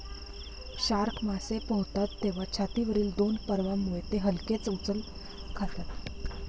Shark मासे पोहतात तेव्हा छातीवरील दोन पर्वांमुळे ते हलकेच उचल खातात.